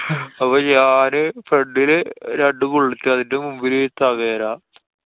അപ്പൊ ഞാന് front ല് രണ്ടു bullet. അതിന്‍ടെ മുന്നിലൊരു tavera.